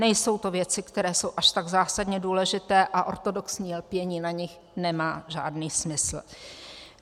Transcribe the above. Nejsou to věci, které jsou až tak zásadně důležité, a ortodoxní lpění na nich nemá žádný smysl.